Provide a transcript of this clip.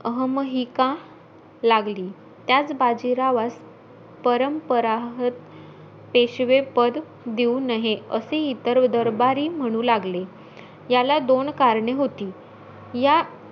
अहमहिका लागली. त्याच बाजीरावास परंपरा पेशवेपद देऊ नहे, असे इतर दरबारी म्हणू लागले. याला दोन करणे होती. या,